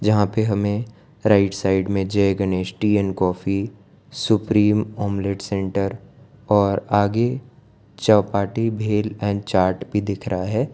जहां पे हमें राइट साइड में Jai Ganesh tea and coffee supreme omelette centre और आगे चौपाटी भेल और चार्ट भी दिख रहा है।